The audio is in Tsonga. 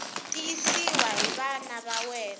tiyisiwa hi va nawu ta